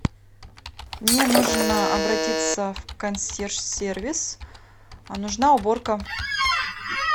мне нужно обратиться в консьерж сервис нужна уборка